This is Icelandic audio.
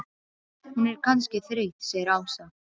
Hún er kannski þreytt segir Ása.